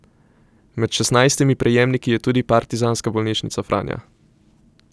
Med šestnajstimi prejemniki je tudi Partizanska bolnišnica Franja.